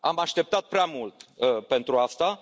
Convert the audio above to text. Am așteptat prea mult pentru asta.